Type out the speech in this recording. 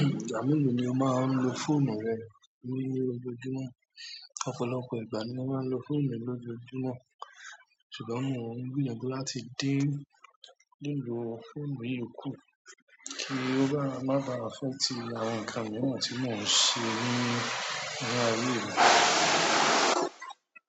Ìgbà mélòó ni o máa n lo fóònù rẹ ní ojoojúmọ́, ọ̀pọ̀lọpọ̀ ìgbà ni mo máa ń lo fóònù mi lójoojúmọ́. Ṣùgbọ́n mo ń gbìyànjú láti dé lílò fóònù yíì kù kí ó báà má ba affect àwọn nǹkan mìíràn tí mò ń ṣe ní inú ayé mi.